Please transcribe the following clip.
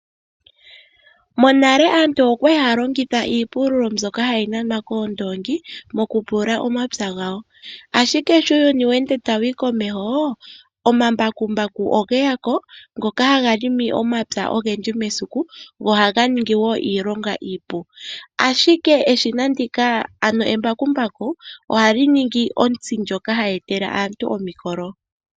Monale aantu okwali haya longitha iipululo mbyoka hayi nanwa koondoongi mokupulula omapya gawa. Ashike sho uuyuni tawu ende tawuyi komeho omambakumbu ogeyako ngoka haga longo omapya ogendji mesiku go ohaga ningi woo iilonga iipu , ashike eshina ndika ano embakumbaku ohali ningi ontsi ndyoka hayi etele aantu omukolo.